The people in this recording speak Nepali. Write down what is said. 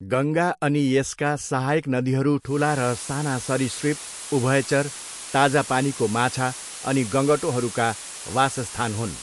गङ्गा अनि यसका सहायक नदीहरू ठुला र साना सरीसृप, उभयचर, ताजा पानीको माछा अनि गङ्गटोहरूका वासस्थान हुन्।